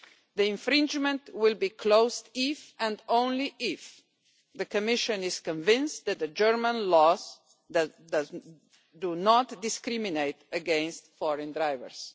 The infringement case will be closed if, and only if, the Commission is convinced that the German laws do not discriminate against foreign drivers.